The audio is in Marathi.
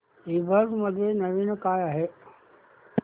ईबझ मध्ये नवीन काय आहे